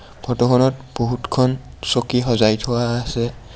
ফোট খনত বহুত খন চকী সজাই থোৱা আছে.